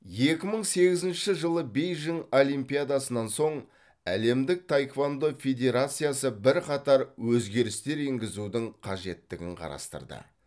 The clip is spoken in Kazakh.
екі мың сегізінші жылы бейжің олимпиадасынан соң әлемдік таеквондо федерациясы бірқатар өзгерістер енгізудің қажеттігін қарастырды